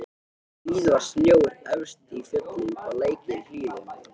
Víða var snjór efst í fjöllum og lækir í hlíðum.